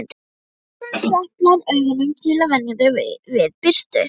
Strákurinn deplar augunum til að venja þau við birtu